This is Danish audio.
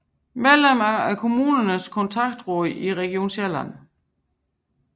Medlem af Kommunernes Kontaktråd i Region Sjælland